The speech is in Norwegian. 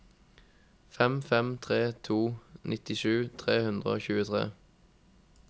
fem fem tre to nittisju tre hundre og tjuetre